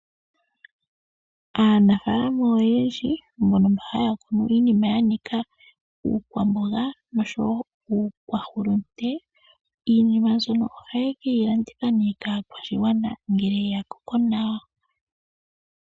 Aanafaalama oyendji mbono mba haya kunu iinima yanika iikwamboga niikwahulunde, iinima mbyono oha ye keyi landitha po nee kaakwashigwana ngele yakoko nawa.